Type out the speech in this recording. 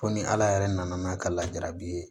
Ko ni ala yɛrɛ nana n'a ka lajarabi ye